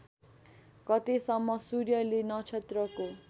गतेसम्म सूर्यले नक्षत्रको